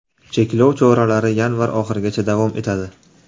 Cheklov choralari yanvar oxirigacha davom etadi.